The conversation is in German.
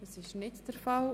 – Das ist nicht der Fall.